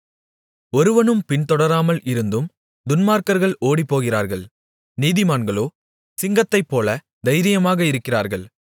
ஒருவனும் பின்தொடராமல் இருந்தும் துன்மார்க்கர்கள் ஓடிப்போகிறார்கள் நீதிமான்களோ சிங்கத்தைப்போல தைரியமாக இருக்கிறார்கள்